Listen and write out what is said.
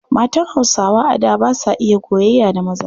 Matan Hausawa a da ba sa iya gogayya da maza.